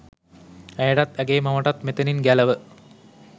ඇයටත් ඇගේ මවටත් මෙතැනින් ගැලව